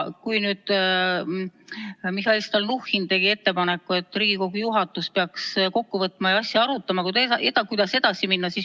Mihhail Stalnuhhin tegi ettepaneku, et Riigikogu juhatus peaks kokku saama ja arutama, kuidas edasi minna.